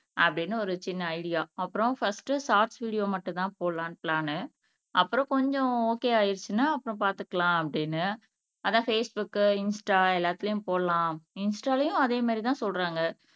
அப்படின்னு ஒரு சின்ன ஐடியா அப்புறம் பர்ஸ்ட் ஷார்ட்ஸ் வீடியோ மட்டும்தான் போடலாம்ன்னு பிளான் அப்புறம் கொஞ்சம் ஓகே ஆயிடுச்சுன்னா அப்புறம் பாத்துக்கலாம் அப்படீன்னு அதான் பேஸ்புக் இன்ஸ்டா எல்லாத்துலயும் போடலாம் இன்ஸ்டாலயும் அதே மாதிரி தான் சொல்றாங்க